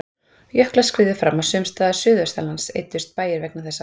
Jöklar skriðu fram og sums staðar suðaustanlands eyddust bæir vegna þessa.